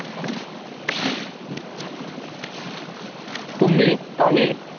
तुम्ही काही